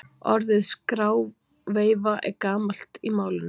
Orðið skráveifa er gamalt í málinu.